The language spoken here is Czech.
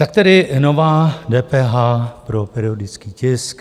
Tak tedy nová DPH pro periodický tisk.